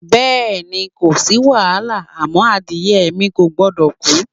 Bé̩è̩ni, ko sí wàhálà àmó̩ adìye̩ mi kò gbo̩dò̩ kú.